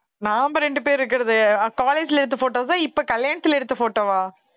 நாம ரெண்டு பேர் இருக்கறது college ல எடுத்த photos ஆ இப்ப கல்யாணத்துல எடுத்த photo வா